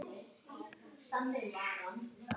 Þarna koma þau!